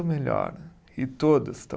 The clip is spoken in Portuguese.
Melhor e todos estão